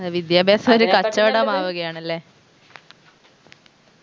ഏർ വിദ്യാഭ്യാസം ഒരു കച്ചവടമാവുകയാണല്ലേ